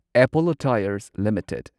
Apollo Tyres limited